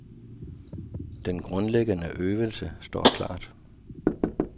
Den grundlæggende øvelse står klart.